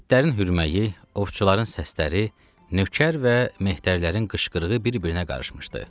İtlərin hürməyi, ovçuların səsləri, nökər və mehtərlərin qışqırığı bir-birinə qarışmışdı.